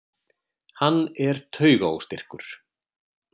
Hann er taugaóstyrkur.